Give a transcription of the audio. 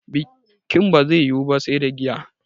Bikin ba zai yiwu ba sai da giya